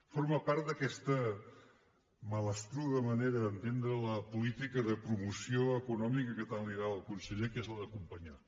forma part d’aquesta malastruga manera d’entendre la política de promoció econòmica que tant li agrada al conseller que és la d’acompanyar